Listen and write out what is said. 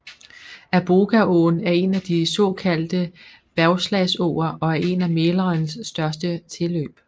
Arbogaån er en af de såkaldte bergslagsåer og en af Mälarens største tilløb